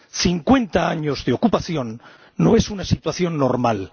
Cincuenta años de ocupación no es una situación normal.